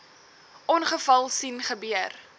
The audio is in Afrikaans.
ongeval sien gebeur